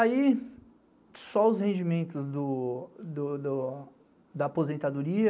Aí, só os rendimentos da aposentadoria,